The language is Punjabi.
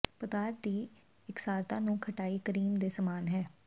ਪਦਾਰਥ ਦੀ ਇਕਸਾਰਤਾ ਨੂੰ ਖਟਾਈ ਕਰੀਮ ਦੇ ਸਮਾਨ ਹੈ